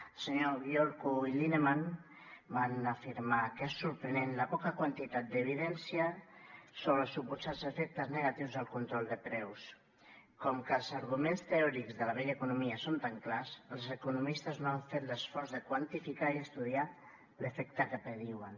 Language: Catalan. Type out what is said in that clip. els senyors gyourko i lineman van afirmar que és sorprenent la poca quantitat d’evidència sobre els suposats efectes negatius del control de preus com que els arguments teòrics de la vella economia són tan clars els economistes no han fet l’esforç de quantificar i estudiar l’efecte que prediuen